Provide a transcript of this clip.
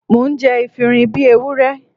Mò ń jẹ efinrin bí Ewúrẹ́.